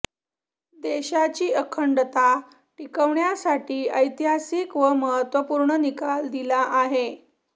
देशाची अखंडता टिकवण्यासाठी ऐतिहासिक व महत्वपूर्ण निकाल दिला आहे